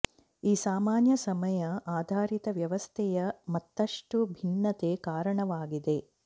ಈ ಸಾಮಾನ್ಯ ಸಮಯ ಆಧಾರಿತ ವ್ಯವಸ್ಥೆಯ ಮತ್ತಷ್ಟು ಭಿನ್ನತೆ ಕಾರಣವಾಗಿದೆ